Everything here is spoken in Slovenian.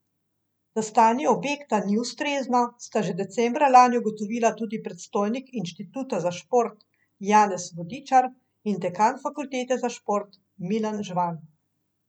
Da stanje objekta ni ustrezno, sta že decembra lani ugotovila tudi predstojnik inštituta za šport Janez Vodičar in dekan fakultete za šport Milan Žvan.